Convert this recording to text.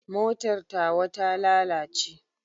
Motar tawa ta lalace.